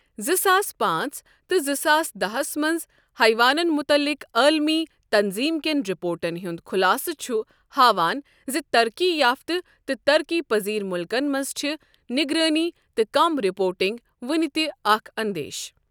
زٕ ساس پانٛژ تہٕ زٕ ساس داہس منز حیوانن متعلق عالمی تنظیم کین رِپورٹن ہُند خُلاصہٕ چُھ ہاوان زِ ترقی یافتہٕ تہٕ ترقی پذیر مُلکن منز چِھ نگرٲنی تہٕ کم رپورٹنگ ؤنِہ تِہ اکھ اندیشہٕ ۔